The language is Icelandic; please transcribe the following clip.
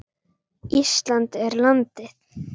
Ísland er landið.